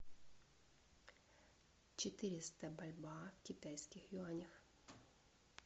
четыреста бальбоа в китайских юанях